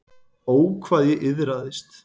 Ó, hvað ég iðraðist.